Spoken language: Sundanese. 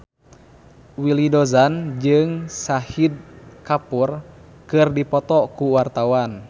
Willy Dozan jeung Shahid Kapoor keur dipoto ku wartawan